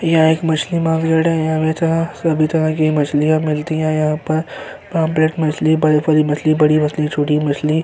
यह एक मछली मार्केट है। सभी तरह की मछलियाँ मिलती हैं यहाँ पर मछली बड़ी-बड़ी मछली बड़ी मछली छोटी मछली --